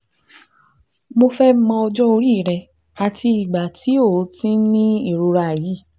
Mo fẹ́ mọ ọjọ́ orí rẹ àti ìgbà tó o ti ń ní ìrora yìí